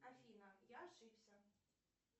афина я ошибся